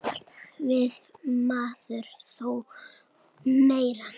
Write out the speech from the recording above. Alltaf vill maður þó meira.